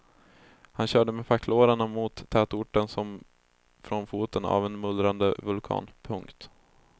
Han körde med packlårarna mot tätorten som från foten av en mullrande vulkan. punkt